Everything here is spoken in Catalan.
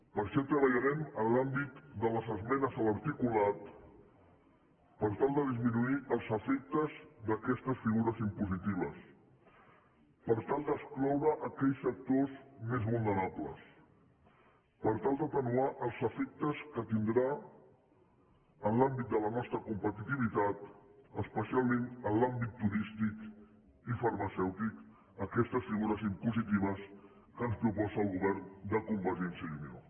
per això treballarem en l’àmbit de les esmenes a l’articulat per tal de disminuir els efectes d’aquestes figures impositives per tal d’excloure aquells sectors més vulnerables per tal d’atenuar els efectes que tindran en l’àmbit de la nostra competitivitat especialment en l’àmbit turístic i farmacèutic aquestes figures impositives que ens proposa el govern de convergència i unió